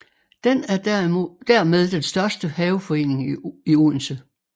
Den er dermed den største haveforening i Odense